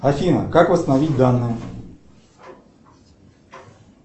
афина как восстановить данные